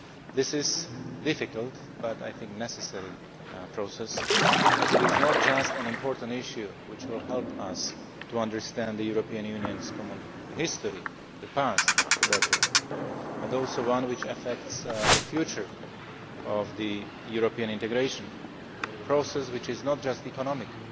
This is a difficult but necessary process, as it is not just an important issue which will help us to understand the European Union's common history, the past, better, but also one which affects the future of European integration a process which is not just economic